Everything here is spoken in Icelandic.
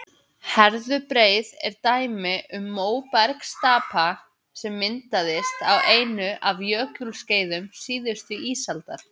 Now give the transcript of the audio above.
herðubreið er dæmi um móbergsstapa sem myndaðist á einu af jökulskeiðum síðustu ísaldar